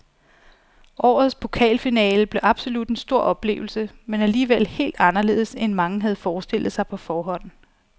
Årets pokalfinale blev absolut en stor oplevelse, men alligevel helt anderledes end mange havde forestillet sig på forhånd.